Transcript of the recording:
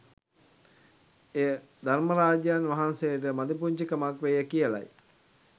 එය ධර්මරාජයන් වහන්සේට මදිපුංචි කමක් වේය කියලයි